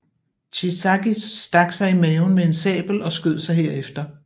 Shiizaki stak sig i maven med en sabel og skød sig herefter